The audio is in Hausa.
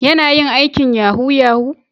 Yana yin aikin yahoo -yahoo?